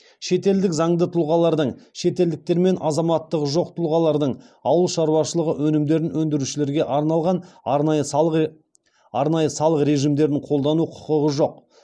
шетелдік заңды тұлғалардың шетелдіктер мен азаматтығы жоқ тұлғалардың ауыл шаруашылығы өнімдерін өндірушілерге арналған арнайы салық режимдерін қолдану құқығы жоқ